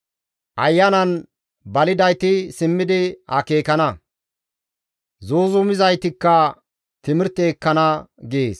Ayanan balidayti simmidi akeekana; zuuzumizaytikka timirte ekkana» gees.